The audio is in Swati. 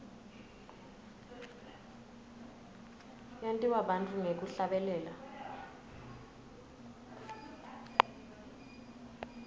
yentiwa bantfu ngekuhlabelela